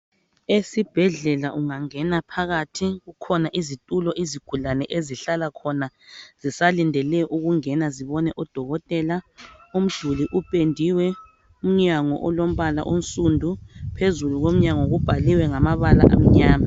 Esibhedlela ungangena phakathi kukhona izitulo izigulane ezihlala khona zisalindele ukungena zibone udokotela umduli upendiwe umnyango olombala onsundu phezulu komnyango kubhaliwe ngamabala amnyama.